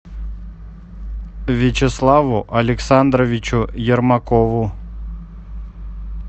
вячеславу александровичу ермакову